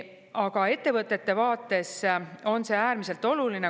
Aga ettevõtete vaates on see äärmiselt oluline.